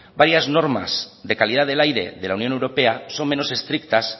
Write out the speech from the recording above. varias normas de la calidad del aire de la unión europea son menos estrictas